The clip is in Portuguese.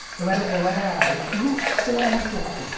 Eu era eu era nossa, eu era muito ruim.